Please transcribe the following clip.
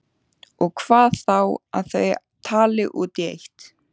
Og hvað þá að þau tali út í eitt.